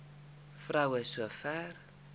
vrou so ver